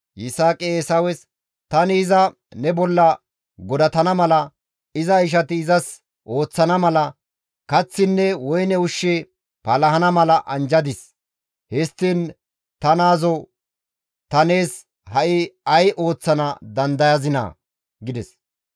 Yisaaqi Eesawes, «Tani iza ne bolla godatana mala, iza ishati izas ooththana mala, kaththinne woyne ushshi palahana mala anjjadis; histtiin ta naazoo ta nees ha7i ay ooththana dandayazinaa?» gides.